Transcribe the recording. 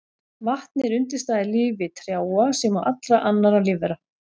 Vatn er undirstaða í lífi trjáa sem og allra annarra lífvera.